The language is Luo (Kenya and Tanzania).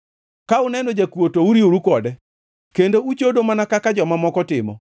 Ka uneno jakuo to uriworu kode kendo uchodo mana kaka joma moko timo.